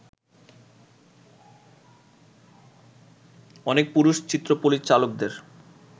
অনেক পুরুষ-চিত্রপরিচালকের